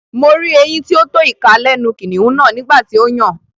Mo rí eyín tí ó tó ìka lẹ́nu kìnnìún náà nígbà tí ó yàn